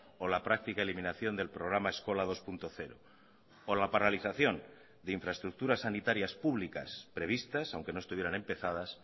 o la práctica eliminación del programa eskola dos punto cero o la paralización de infraestructuras sanitarias públicas previstas aunque no estuvieran empezadas